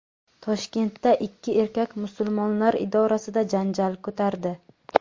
Toshkentda ikki erkak Musulmonlar idorasida janjal ko‘tardi.